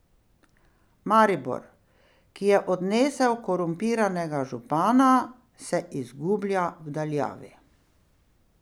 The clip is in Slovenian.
Maribor, ki je odnesel korumpiranega župana, se izgublja v daljavi.